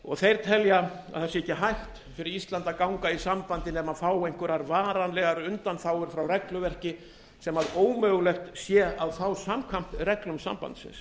og þeir telja að það sé ekki hægt fyrir ísland að ganga í sambandið nema fá einhverjar varanlegar undanþágur frá regluverki sem ómögulegt sé að fá samkvæmt reglum sambandsins